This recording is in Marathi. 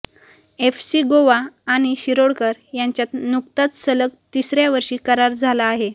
एफसी गोवा आणि शिरोडकर यांच्यात नुकताच सलग तिसऱया वर्षी करार झाला आहे